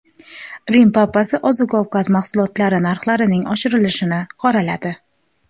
Rim papasi oziq-ovqat mahsulotlari narxlarining oshishini qoraladi.